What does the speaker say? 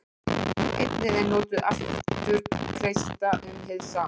Einnig er notað afturkreista um hið sama.